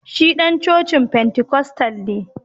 Shi dan cocin Pentikostal ne